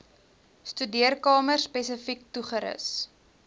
studeerkamer spesifiek toegerus